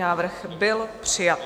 Návrh byl přijat.